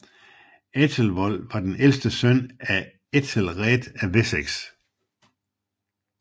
Æthelwold var den ældste søn af Æthelred af Wessex